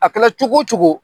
A kɛra cogo cogo